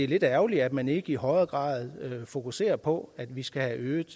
lidt ærgerligt at man ikke i højere grad fokuserer på at vi skal have øget